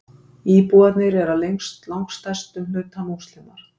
Íbúarnir eru að langstærstum hluta Múslimar